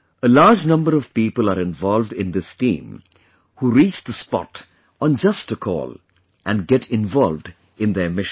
A large number of people are involved in this team, who reach the spot on just a call and get involved in their mission